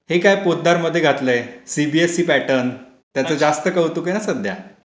हे काय पोद्दारमध्ये घातलं आहे. CBSE pattern. त्याचं जास्त कौतुक आहे ना सध्या.